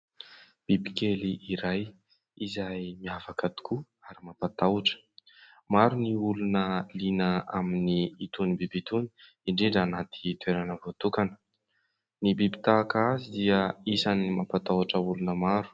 Bibikely iray izay miavaka tokoa ary mampatahotra, maro ny olona liana amin'ny itony biby itony indrindra anaty toerana voatokana, ny biby tahaka azy dia isan'ny mampatahotra olona maro.